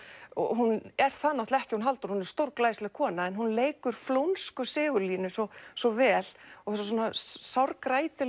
og hún er það náttúrulega ekki hún Halldóra hún er stórglæsileg kona en hún leikur flónsku Sigurlínu svo svo vel og þessa sár